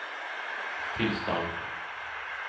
tillstånd